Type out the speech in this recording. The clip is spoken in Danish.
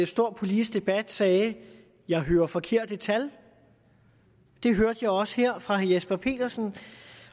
stor politisk debat sagde jeg hører forkerte tal det hørte jeg også her fra herre jesper petersen